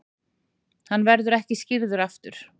Hann verður ekki skírður aftur.